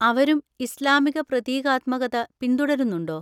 അവരും ഇസ്ലാമിക പ്രതീകാത്മകത പിന്തുടരുന്നുണ്ടോ?